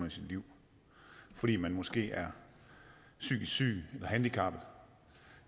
i sit liv fordi man måske er psykisk syg handicappet